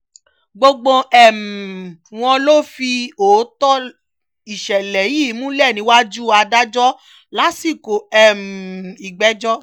gbogbo um wọn ló fìdí òótọ́ ìṣẹ̀lẹ̀ yìí múlẹ̀ níwájú adájọ́ lásìkò um ìgbẹ́jọ́